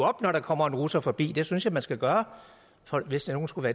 op når der kommer en russer forbi og det synes jeg man skal gøre hvis nogen skulle